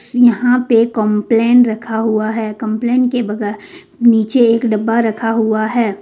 उसने यहां पे एक कंप्लेन रखा हुआ है कंप्लेन के बगैर नीचे एक डब्बा रखा हुआ है।